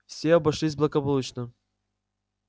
все обошлось благополучно